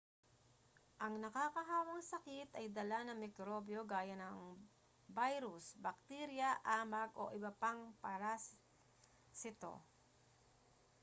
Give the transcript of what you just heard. ang nakakahawang sakit ay dala ng mikrobyo gaya ng virus bakterya amag o iba pang parasito